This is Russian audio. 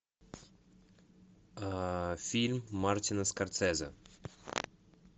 фильм мартина скорсезе